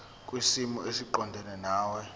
kwisimo esiqondena nawe